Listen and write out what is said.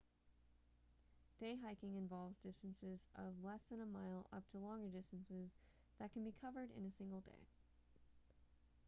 day hiking involves distances of less than a mile up to longer distances that can be covered in a single day